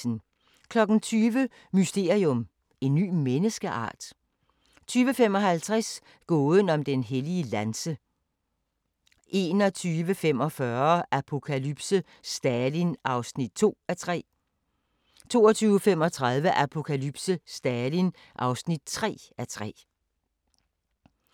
23:30: William Marshall: Den største ridder 00:25: Sinatra - historien om Old Blue Eyes (Afs. 1) 01:25: Pussy Riot – Putins fjender 02:55: Kvit eller Dobbelt * 04:50: Dagens sang: Dansevisen *